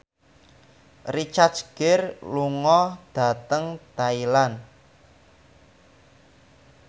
Richard Gere lunga dhateng Thailand